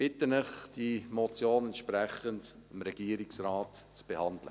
Ich bitte Sie, die Motion dem Regierungsrat entsprechend zu behandeln.